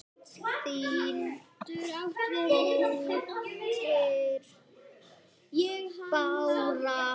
Þín dóttir, Bára.